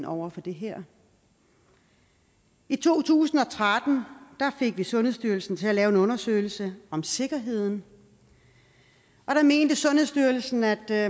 over for det her i to tusind og tretten fik vi sundhedsstyrelsen til at lave en undersøgelse om sikkerheden og der mente sundhedsstyrelsen at der